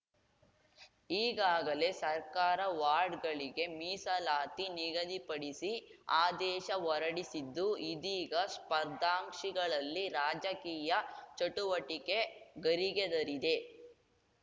ಈಗಾಗಲೇ ಸರ್ಕಾರ ವಾರ್ಡ್‌ಗಳಿಗೆ ಮೀಸಲಾತಿ ನಿಗದಿಪಡಿಸಿ ಆದೇಶ ಹೊರಡಿಸಿದ್ದು ಇದೀಗ ಸ್ಪರ್ಧಾಂಕ್ಷಿಗಳಲ್ಲಿ ರಾಜಕೀಯ ಚಟುವಟಿಕೆ ಗರಿಗೆದರಿದೆ